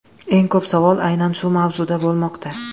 Eng ko‘p savol aynan shu mavzuda bo‘lmoqda.